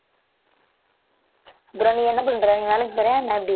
அப்புறம் நீ என்ன பண்ற நீ வேலைக்கு போறியா என்ன எப்படி